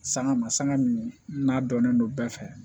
Sanga ma sanga min n'a dɔnnen don bɛɛ fɛ